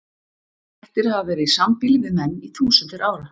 Kettir hafa verið í sambýli við menn í þúsundir ára.